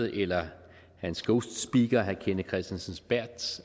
eller hans ghostspeaker herre kenneth kristensen berths